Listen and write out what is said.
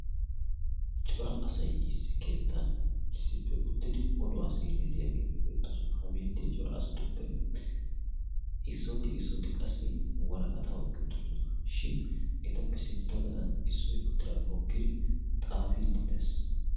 cora asai issi keettan issippe uttidi oduwaa seyiddi deyaageeti beettoosona ha beettiya cora asatuppe issooti issooti qassi waraqataa oiqqi uttidosona shin etappe sintta gaxan issoi uttidaagee hookkidi xaafi diddees